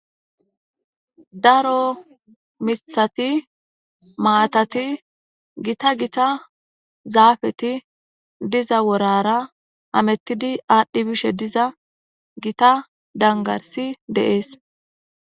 Daro miththati, maatati, gita gita zaafeti diza worara hemetidi aadhi bishe diza gita dangarssi de'es.